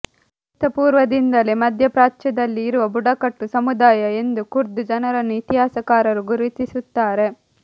ಕ್ರಿಸ್ತ ಪೂರ್ವದಿಂದಲೇ ಮಧ್ಯಪ್ರಾಚ್ಯದಲ್ಲಿ ಇರುವ ಬುಡಕಟ್ಟು ಸಮುದಾಯ ಎಂದು ಕುರ್ದ್ ಜನರನ್ನು ಇತಿಹಾಸಕಾರರು ಗುರುತಿಸುತ್ತಾರೆ